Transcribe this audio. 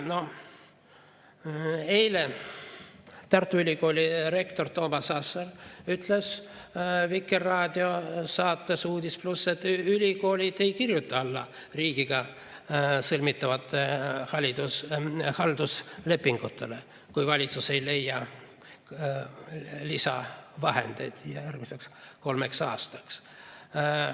Eile Tartu Ülikooli rektor Toomas Asser ütles Vikerraadio saates "Uudis+", et ülikoolid ei kirjuta alla riigiga sõlmitavatele halduslepingutele, kui valitsus ei leia lisavahendeid järgmiseks kolmeks aastaks.